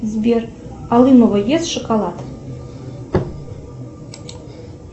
сбер алымова ест шоколад